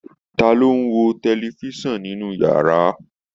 Ta ló ń wo tẹlifisan ninu yàrá?